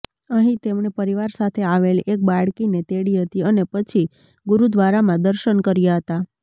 અહીં તેમણે પરિવાર સાથે આવેલી એક બાળકીને તેડી હતી અને પછી ગુરુદ્વારામાં દર્શન કર્યા હતા